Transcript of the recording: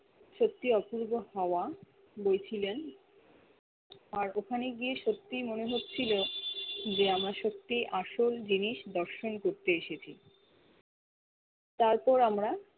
সত্যি অপূর্ব হাওয়া বইছিলেন আর ওখানে গিয়ে সত্যি মনে হচ্ছিলো যে আমার সত্যি আসল জিনিস দর্শন করতে এসেছি তার পর আমরা